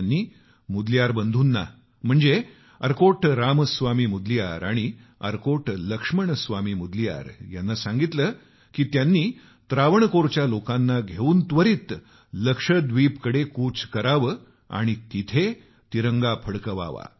त्यांनी मुदलियार बंधू अर्कोट रामस्वामी मुदलियार आणि अर्कोट लक्ष्मणस्वामी मुदलियार यांना सांगितलं की त्याने त्रावणकोरच्या लोकांना घेऊन त्वरित तिकडे कूच करावं आणि तिथं तिरंगा फडकवावा